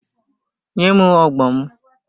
Nye m ogbo m!